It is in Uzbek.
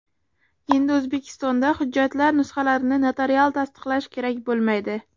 Endi O‘zbekistonda hujjatlar nusxalarini notarial tasdiqlash kerak bo‘lmaydi.